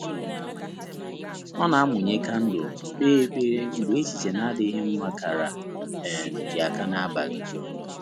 Ọ́ nà-àmụ́nyé kándụ̀l mà kpèé ékpèré mgbè échíché nà-ádị́ghị́ mmá kàrà um yá áká n’ábàlị̀.